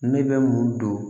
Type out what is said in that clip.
Ne bɛ mun don